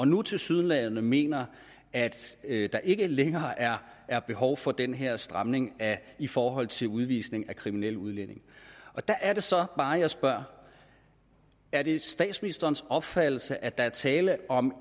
nu tilsyneladende mener at at der ikke længere er er behov for den her stramning i forhold til udvisning af kriminelle udlændinge og der er det så bare jeg spørger er det statsministerens opfattelse at der blot er tale om